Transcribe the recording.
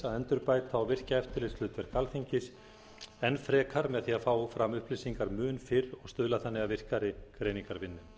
endurbæta og virkja eftirlitshlutverk alþingis enn frekar með því að fá fram upplýsingar mun fyrr og stuðla þannig að virkari greiningarvinnu